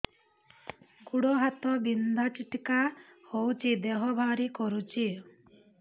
ଗୁଡ଼ ହାତ ବିନ୍ଧା ଛିଟିକା ହଉଚି ଦେହ ଭାରି କରୁଚି